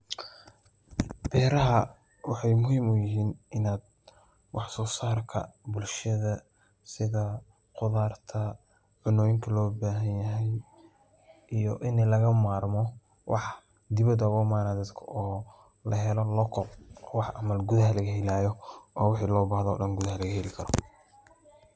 Beeraha waxeey muhiim uyihiin in wax soo saarka bulshada sida qudaarta iyo cuntada loo bahan yahay iyo in laga bahdo waxa banaanka laga keenayo oo gudaha laga heli karo.